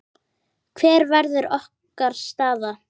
Hver verður okkar staða?